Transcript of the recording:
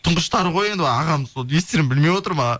тұңғыштары ғой енді ағамның сол не істерімді білмей отырмын